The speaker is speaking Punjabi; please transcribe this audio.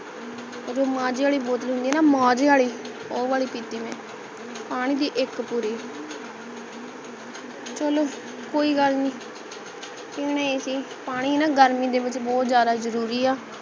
ਮਾਜ਼ੇ ਆਲੀ bottle ਹੁੰਦੀ ਹੈ ਨਾ ਮਾਜ਼ੇ ਆਲੀ ਉਹ ਵਾਲੀ ਪੀਤੀ ਮੈਂ ਪਾਣੀ ਦੀ ਇਕ ਪੂਰੀ ਚਲੋ ਕੋਈ ਗੱਲ ਨਹੀਂ ਪੀਣਾ ਹੀ ਸੀ ਪਾਣੀ ਨਾ ਗਰਮੀ ਦੇ ਵਿੱਚ ਬਹੁਤ ਜ਼ਿਆਦਾ ਜਰੂਰ ਹਾ